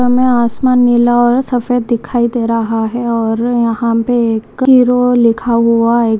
हमें आसमान नीला और सफ़ेद दिखाई दे रहा है और यहाँ पे एक हीरो लिखा हुआ एक --